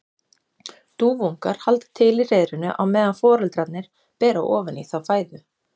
Dúfuungar halda til í hreiðrinu á meðan foreldrarnir bera ofan í þá fæðu.